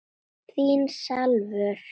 Heyra mátti saumnál detta.